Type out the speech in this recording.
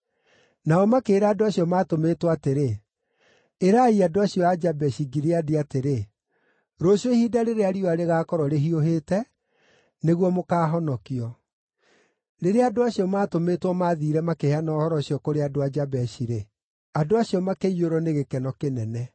Nao makĩĩra andũ acio maatũmĩtwo atĩrĩ, “Ĩrai andũ acio a Jabeshi-Gileadi atĩrĩ, ‘rũciũ ihinda rĩrĩa riũa rĩgaakorwo rĩhiũhĩte, nĩguo mũkaahonokio.’ ” Rĩrĩa andũ acio maatũmĩtwo mathiire makĩheana ũhoro ũcio kũrĩ andũ a Jabeshi-rĩ, andũ acio makĩiyũrwo nĩ gĩkeno kĩnene.